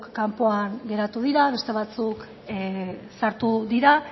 kanpoan geratu dira beste batzuk sartu dira